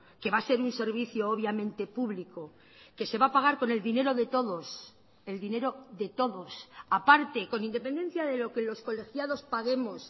que va a ser un servicio obviamente público que se va a pagar con el dinero de todos el dinero de todos aparte con independencia de lo que los colegiados paguemos